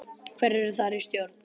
Hverjir eru þar í stjórn?